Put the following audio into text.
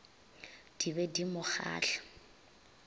di be di mo kgahla